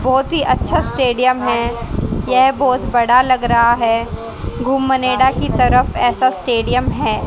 बहुत ही अच्छा स्टेडियम है यह बहुत बड़ा लग रहा है गुमनेड़ा की तरफ ऐसा स्टेडियम है।